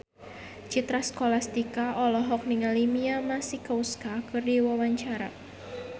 Citra Scholastika olohok ningali Mia Masikowska keur diwawancara